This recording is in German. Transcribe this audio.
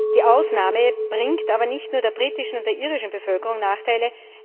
Die Ausnahme bringt aber nicht nur der britischen und der irischen Bevölkerung Nachteile.